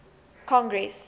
congress